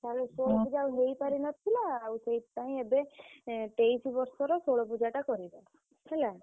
ଆଉ ଷୋଳ ପୁଜା ହେଇ ପାରି ନଥିଲା ଆଉ ସେଇଥି ପାଇଁ ଏବେ ତେଇଶି ବର୍ଷରେ ଷୋଳ ପୁଜା କରିବ ହେଲା।